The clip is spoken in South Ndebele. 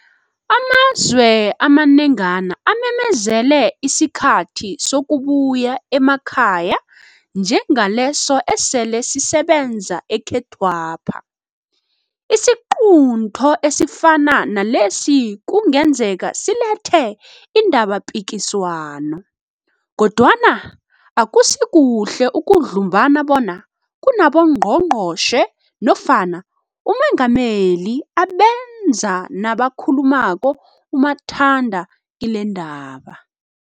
Amazwe amanengana amemezele isikhathi sokubuya emakhaya njengaleso esele sisebenza ekhethwapha. Isiqunto esifana nalesi kungenzeka silethe indabapikiswano, kodwana akusikuhle ukudlumbana bona kunaboNgqongqotjhe nofana uMengameli abenza nabakhuluma umathanda kilendaba.